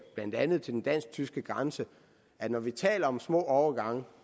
blandt andet den dansk tyske grænse at når vi taler om små overgange